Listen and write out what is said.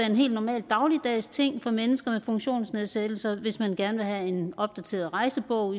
en helt normal dagligdagsting for mennesker med funktionsnedsættelser hvis man gerne vil have en opdateret rejsebog